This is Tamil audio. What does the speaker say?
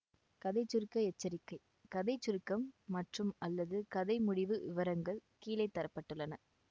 கதை சுருக்க எச்சரிக்கை கதை சுருக்கம் மற்றும்அல்லது கதை முடிவு விவரங்கள் கீழே தர பட்டுள்ளன